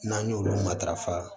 N'an y'olu matarafa